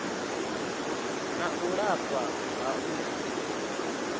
na u lafha ha u